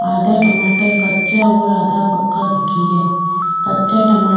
आधा टमाटर कच्चा और आधा पक्का दिखेरा कच्चा टमाटर --